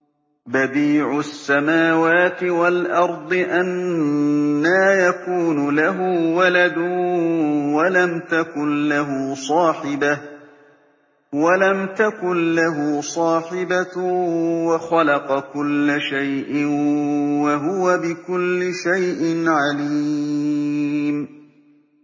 بَدِيعُ السَّمَاوَاتِ وَالْأَرْضِ ۖ أَنَّىٰ يَكُونُ لَهُ وَلَدٌ وَلَمْ تَكُن لَّهُ صَاحِبَةٌ ۖ وَخَلَقَ كُلَّ شَيْءٍ ۖ وَهُوَ بِكُلِّ شَيْءٍ عَلِيمٌ